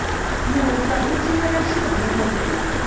musa u cinela xigubu